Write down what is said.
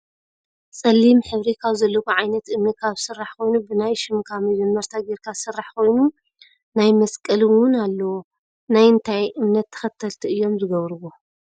ፀሊም ሕብሪ ካብ ዘለዎ ዓይነት እምኒ ካብ ዝስራሕ ኮይኑ ብናይ ሽምካ መጀመርታ ገይርካ ዝስራሕ ኮይኑናይ መስቀል እውን ኣለዎ። ናይ እንታይ እምነት ተከተልቲ እዮም ዝገብርዎ?